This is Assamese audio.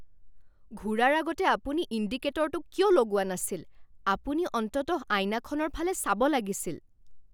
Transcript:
ঘূৰাৰ আগতে আপুনি ইণ্ডিকেটৰটো কিয় লগোৱা নাছিল? আপুনি অন্ততঃ আইনাখনৰ ফালে চাব লাগিছিল।